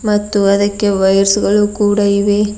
ಮತ್ತು ಅದಕ್ಕೆ ವೈರ್ಸ್ ಗಳು ಕೂಡ ಇವೆ.